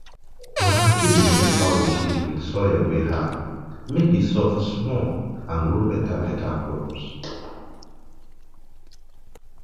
my aunty dey mix fowl shit with soil wey hard mek e hard mek e soft small and grow betabeta crops